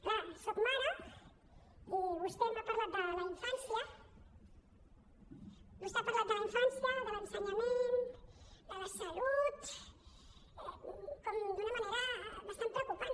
clar soc mare i vostè m’ha parlat de la infància vostè ha parlat de la infància de l’ensenyament de la salut com d’una manera bastant preocupant